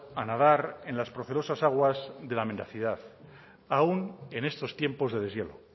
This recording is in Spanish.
a nadar en la procerosas aguas de la mendacidad aun en estos tiempos de deshielo